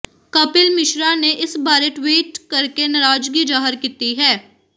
ਕਪਿਲ ਮਿਸ਼ਰਾ ਨੇ ਇਸ ਬਾਰੇ ਟਵੀਟ ਕਰਕੇ ਨਾਰਾਜ਼ਗੀ ਜ਼ਾਹਰ ਕੀਤੀ ਹੈ